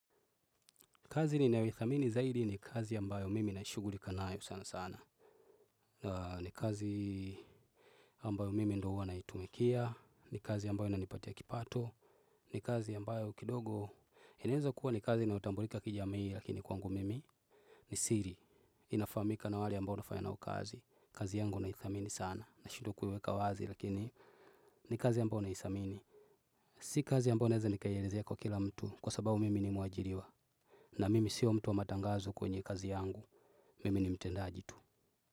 Kazi ninayoithamini zaidi ni kazi ambayo mimi naishugurika nayo sana sana. Na ni kazi ambayo mimi ndo uwa naitumikia. Ni kazi ambayo inanipatia kipato. Ni kazi ambayo kidogo. Inaeza kuwa ni kazi inaotambulika kijamii lakini kwangu mimi. Ni siri. Inafamika na wale ambao nafanya nao kazi. Kazi yangu naithamini sana. Na shidwa kuiweka wazi lakini. Ni kazi ambayo naisamini. Si kazi ambayo naeza nikaielezea kwa kila mtu. Kwa sababu mimi ni muajiriwa. Na mimi siyo mtu wa matangazo kwenye kazi yangu. Mimi ni mtendaji tu.